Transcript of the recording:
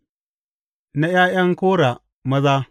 Na ’ya’yan Kora maza.